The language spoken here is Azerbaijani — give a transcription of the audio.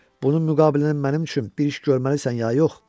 Bunun müqabilində mənim üçün bir iş görməlisən ya yox?